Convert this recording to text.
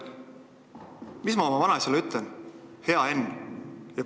Mis ma oma vanaisale ütlen, hea Henn?